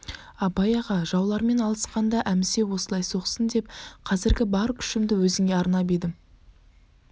абай аға жаулармен алысқанда әмісе осылай соқсын деп қазіргі бар күшімді өзіңе арнап едім